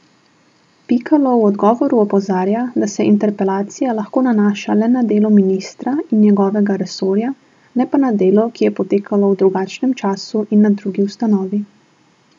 Pikalo v odgovoru opozarja, da se interpelacija lahko nanaša le na delo ministra in njegovega resorja, ne pa na delo, ki je potekalo v drugem času in na drugi ustanovi.